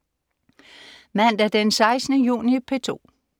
Mandag den 16. juni - P2: